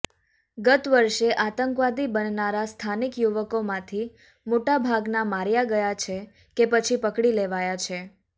ગત વર્ષે આતંકવાદી બનનારા સ્થાનિક યુવકોમાંથી મોટાભાગના માર્યા ગયા છે કે પછી પડકી લેવાયા છે